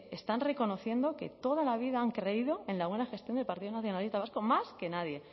están reconociendo que toda la vida han creído en la buena gestión del partido nacionalista vasco más que nadie